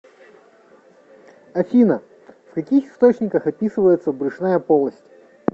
афина в каких источниках описывается брюшная полость